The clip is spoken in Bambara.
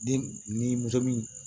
Den ni muso min